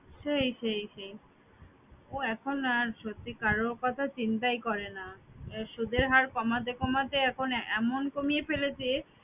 সেই সেই সেই। ও এখন আর সত্যি কারো কথা চিন্তাই করে না, সুদের হার কমাতে কমাতে এখন এমন কমিয়ে ফেলেছে